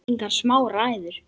Engar smá ræður!